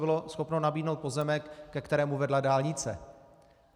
Bylo schopno nabídnout pozemek, ke kterému vedla dálnice.